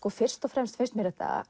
fyrst og fremst finnst mér þetta